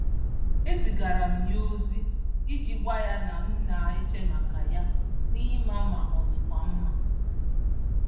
E zigaara m ya ozi iji gwa ya na m na-eche maka ya na ịma ma ọ dịkwa mma.